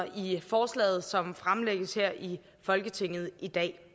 i forslaget som er fremlagt her i folketinget i dag